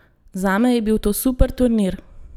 Zame je bil to super turnir!